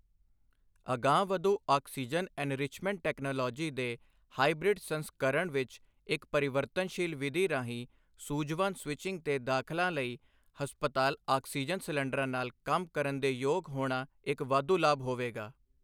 ਅਗਾਂਹਵਧੂ oxygen enrichment technology ਦੇ hybrid ਸੰਸਕਰਣ ਵਿੱਚ ਇੱਕ ਪਰਿਵਰਤਨਸ਼ੀਲ ਵਿਧੀ ਰਾਹੀਂ ਸੂਝਵਾਨ ਸਵਿੱਚਿੰਗ ਤੇ ਦਖ਼ਲਾਂ ਲਈ ਹਸਪਤਾਲ ਆਕਸੀਜਨ ਆਕਸੀਜਨ ਸਿਲੰਡਰਾਂ ਨਾਲ ਕੰਮ ਕਰਨ ਦੇ ਯੋਗ ਹੋਣਾ ਇੱਕ ਵਾਧੂ ਲਾਭ ਹੋਵੇਗਾ।